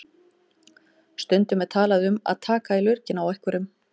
Stundum er talað um að taka í lurginn á einhverjum.